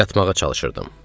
Yatmağa çalışırdım.